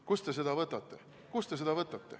Kust te seda võtate?